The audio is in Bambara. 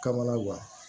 Kamana guwan